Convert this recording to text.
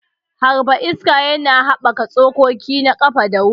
Harba iska yana haɓaka tsokoki na ƙafa da wuri.